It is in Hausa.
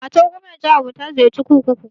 Matar gwamnar jiharmu ta ziyarci kurkuku.